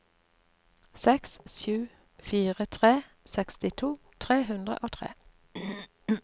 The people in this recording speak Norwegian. seks sju fire tre sekstito tre hundre og tre